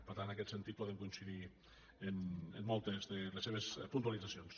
per tant en aquest sentit podem coincidir en moltes de les seves puntualitzacions